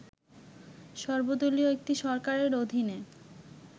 সর্বদলীয় একটি সরকারের অধীনে